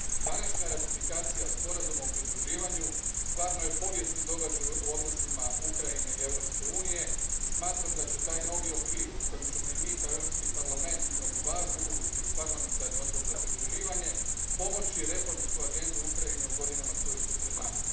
Današnja ratifikacija sporazuma o pridruživanju stvarno je povijesni događaj u odnosima Ukrajine i Europske unije i smatram da će taj novi okvir u kojem ćemo i mi kao Europski parlament imati važnu ulogu kroz parlamentarni odbor za pridruživanje pomoći reformsku agendu Ukrajine u godinama koje su pred nama.